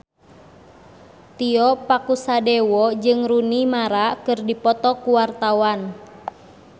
Tio Pakusadewo jeung Rooney Mara keur dipoto ku wartawan